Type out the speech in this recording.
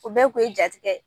O bɛɛ kun ye ja tigɛ ye.